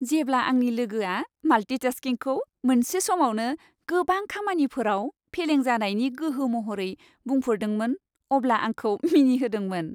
जेब्ला आंनि लोगोआ माल्टिटास्किंखौ मोनसे समावनो गोबां खामानिफोराव फेलें जानायनि गोहो महरै बुंफोरदोंमोन अब्ला आंखौ मिनिहोदोंमोन।